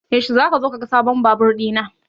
Yaushe zaka zo ka ga sabon Babur ɗina?